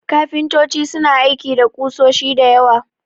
Kafintoci suna aiki da ƙusoshi da yawa.